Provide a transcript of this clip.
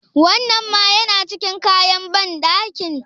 Wannan ma yana cikin kayan banɗakin?